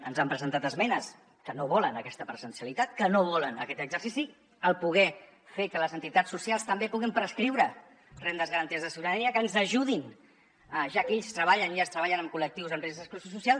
ens han presentat esmenes que no volen aquesta presencialitat que no volen aquest exercici el poder fer que les entitats socials també puguin prescriure rendes garanties de ciutadania que ens ajudin ja que ells treballen amb col·lectius en risc d’exclusió social